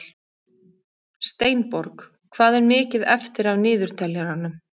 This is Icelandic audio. Steinborg, hvað er mikið eftir af niðurteljaranum?